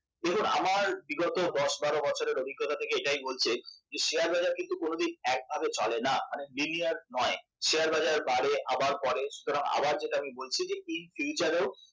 দেখুন আমার বিগত দশ বারো বছরের অভিজ্ঞতা থেকে এটাই বলছে যে শেয়ার বাজার কিন্তু কখনো একভাবে চলে না মানে linear নয় শেয়ার বাজার বাড়ে আবার পড়ে সুতরাং আবার যেটা বলছি যে in future ও